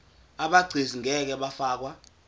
abegcis ngeke bafakwa